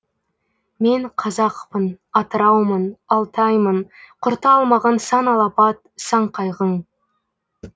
мен қазақпын атыраумын алтаймын құрта алмаған сан алапат сан қайғың